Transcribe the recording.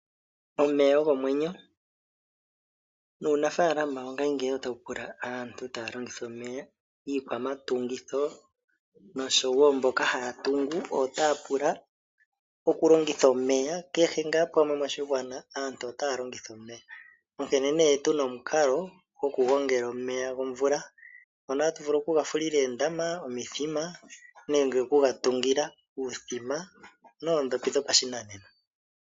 Omeya ogo omwenyo nuunafaalama wongashingeyi otawu pula aantu taya longitha omeya. Iikwamatungitho nosho wo mboka haya tungu otaya pula okulongitha omeya kehe ngaa pamwe moshigwana aantu otaya longitha omeya onkene nee tu na omukalo gwokugongela omeya gomvula ngono hatu vulu okugafulila oondama, omithima nenge okugatungila uuthima noondhopi dhopashinanena.